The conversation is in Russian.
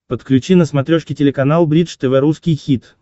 подключи на смотрешке телеканал бридж тв русский хит